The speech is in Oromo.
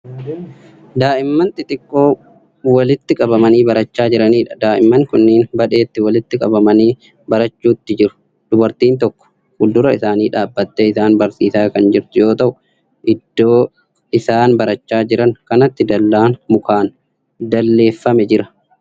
Daa'imman xixiqqoo walitti qabamanii barachaa jiraniidha. daa'imman kunniin badheetti walitti qabamanii barachuutti jiru. dubartiin tokko fuuldura isaanii dhaabattee isaan barsiisaa Kan jirtu yoo ta'u iddoo isaan barachaa Jiran kanatti dallaan mukaan dalleeffamee Jira.